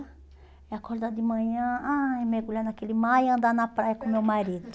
É acordar de manhã, ai, mergulhar naquele mar e andar na praia com meu marido.